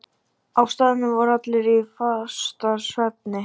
Á staðnum voru allir í fastasvefni.